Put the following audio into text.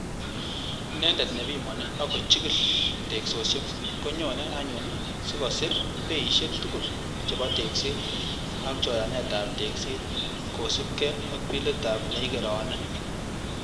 Inendet nepimoni ak ko chigil teksosiek, konyone anyun sikosir beisiek tugul chebo tekset ak choranetab tekset kosiibge ak bilitab neikerone.